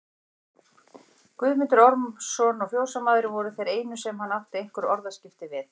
Guðmundur Ormsson og fjósamaðurinn voru þeir einu sem hann átti einhver orðaskipti við.